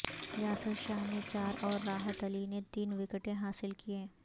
یاسر شاہ نے چار اور راحت علی نے تین وکٹیں حاصل کیں